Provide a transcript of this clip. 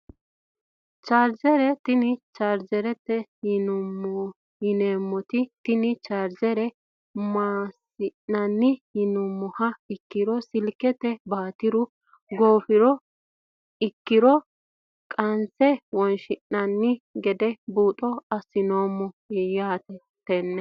Chaarjere tini chaarjerete yineemoti tini chaarjere maasinani yinumoha ikiri silkete baatiru goofiha ikiro kasine wonshinani gede buuxo asineemo yaate tene.